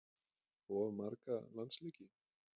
Of marga landsleiki?